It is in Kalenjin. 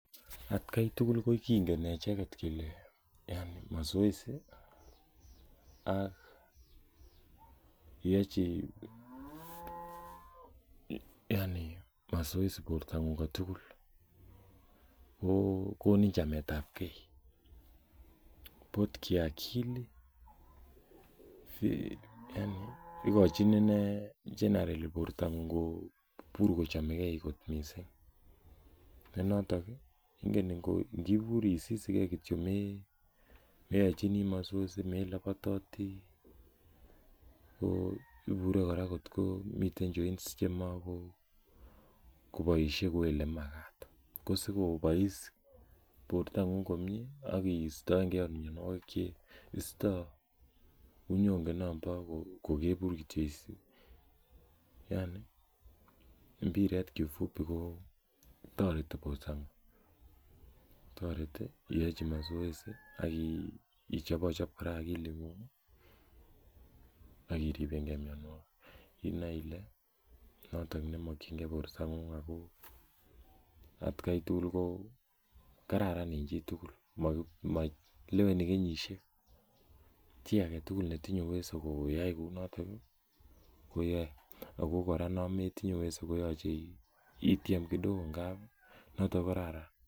Atkai tugul ko kingen echeget kele yani masoesi ak iyochi masoesi bortang'ung kotugul kogonin chametabgee both kiakili yaani igochin inei generally bortang'ung kobur kochomegee kot missing ne notok ii inibur isisigen kityo yani meyochini masoesi, melobototi ko ibure kora ko meten joints chemagoboisie kou elemagat, ko sikobois bortang'ung komyee ak istoenge ot mionwogik cheistoo unyonge nombo kokebur kityo, yani mbiret kifupi ko toreti bortang'ung, toreti iyochi masoesi ak ichobochob kora agiling'ung ii ak iripengen mionwogik inoe ile noton nemokyingen bortang'ung ako atkai tugul ko kararan en chitugul, maleweni kenyisiek, chii agetugul netinye uweso koyai kounoton ii koyae ako kora nometinye uweso ko yoche ityen kidogo noton ko kararan.